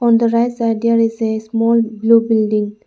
on the right side there is a small blue building.